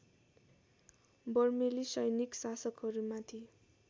बर्मेली सैनिक शासकहरूमाथि